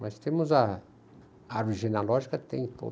Mas temos a árvore genealógica, tem